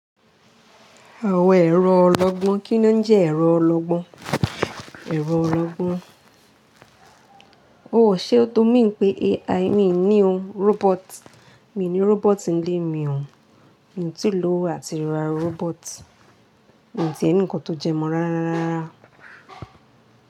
Àwọn ẹrọ ọlọgbọ́n, kí ni ó jẹ́ ẹ̀rọ ọlọgbọ́n, ẹ̀rọ ọlọgbọ́n. Ó ṣe ó n tó mi pé AI, mi ò ní ó, robot, mi ò ní robot ń lé mi hán. Mi ò tí lò àti ra robot. Mi ò tí è ní nǹkan tó jẹ mọ́ rárá rárá.